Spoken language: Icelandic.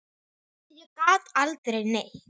Ég gat aldrei neitt.